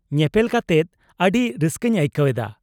-ᱧᱮᱯᱮᱞ ᱠᱟᱛᱮᱫ ᱟᱹᱰᱤ ᱨᱟᱹᱥᱠᱟᱹᱧ ᱟᱹᱭᱠᱟᱹᱣ ᱮᱫᱟ ᱾